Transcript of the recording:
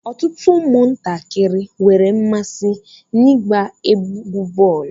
Ọtụtụ ụmụ ntakịrị nwere mmasị na-igba égwu bọọlu.